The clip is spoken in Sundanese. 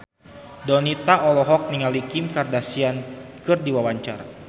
Donita olohok ningali Kim Kardashian keur diwawancara